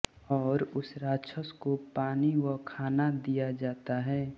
और उस राक्षस को पानी व खाना दिया जाता है